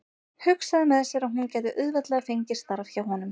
Hugsaði með sér að hún gæti auðveldlega fengið starf hjá honum.